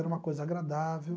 Era uma coisa agradável.